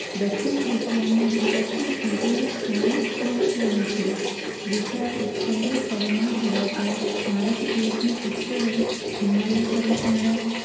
દક્ષિણ એશિયામાં ભારતનો ભૌગોલિક સ્થાન મહત્વનું છે વિશાળ ઉત્તખંડય પરિબળ ધરાવતા ભારત દેશની ઉત્તરે હિમાલય પર્વતમાળા